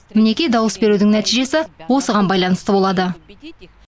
мінекей дауыс берудің нәтижесі осыған байланысты болады